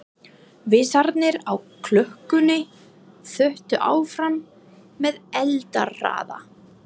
Vísarnir á klukkunni þutu áfram með eldingarhraða.